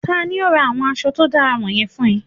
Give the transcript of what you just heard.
Tani o ra awọn aṣọ to dara wọnyẹn fun ọ?